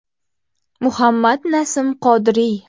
Muhammad Nasim Qodiriy.